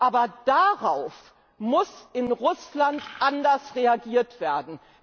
Aber darauf muss in Russland anders reagiert werden.